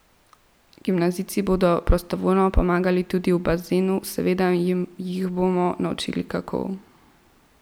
Gimnazijci bodo prostovoljno pomagali tudi v bazenu, seveda jih bomo naučili, kako.